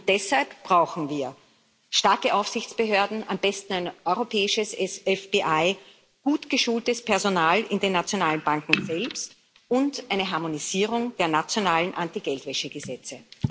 Deshalb brauchen wir starke Aufsichtsbehörden, am besten ein europäisches FBI, gut geschultes Personal in den nationalen Banken selbst und eine Harmonisierung der nationalen Anti Geldwäsche Gesetze.